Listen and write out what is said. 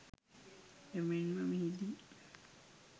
එමෙන්ම මෙහිදී